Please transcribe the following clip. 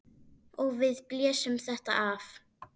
Og við blésum þetta af.